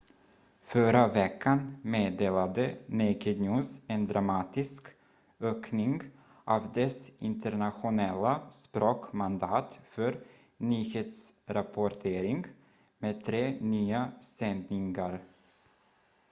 förra veckan meddelade naked news en dramatisk ökning av dess internationella språk-mandat för nyhetsrapportering med tre nya sändningar